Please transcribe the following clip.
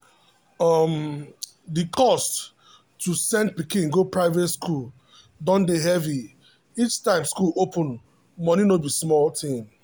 um the cost to send pikin go private school dey heavy each time school open money no be small thing.